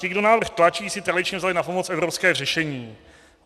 Ti, kdo návrh tlačí, si tradičně vzali na pomoc evropské řešení.